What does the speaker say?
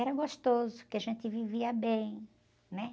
Era gostoso, porque a gente vivia bem, né?